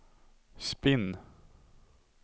spinn